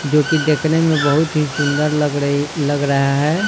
जोकि देखने में बहुत ही सुंदर लग रही लग रहा है।